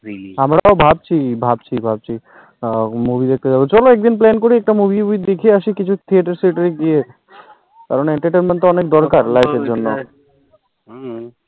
আমরাও ভাবছি ভাবছি ভাবছি আ movie দেখতে পাবো, চলো এক দিন plan করি একটা movie উভি দেখিয়ে আসি কিছু theater সিএতর গিয়ে কারণ entertainment টা অনেক দরকার life এর জন্য হম